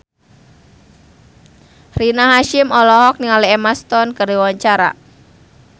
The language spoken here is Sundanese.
Rina Hasyim olohok ningali Emma Stone keur diwawancara